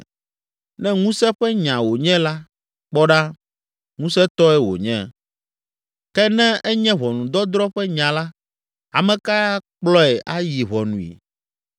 Ne ŋusẽ ƒe nya wònye la, kpɔ ɖa, ŋusẽtɔe wònye! Ke ne enye ʋɔnudɔdrɔ̃ ƒe nya la, ame kae akplɔe ayi ʋɔnui?